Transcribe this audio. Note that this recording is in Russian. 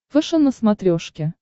фэшен на смотрешке